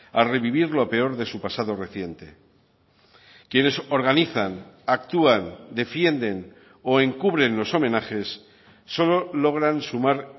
a revivir lo peor de su pasado reciente quienes organizan actúan defienden o encubren los homenajes solo logran sumar